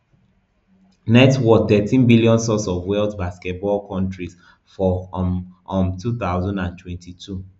net worth thirteen billion source of wealth basketball countryus for um um two thousand and twenty-two